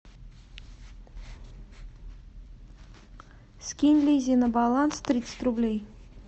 скинь лизе на баланс тридцать рублей